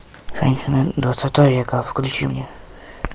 женщины двадцатого века включи мне